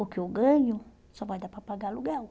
O que eu ganho só vai dar para pagar aluguel.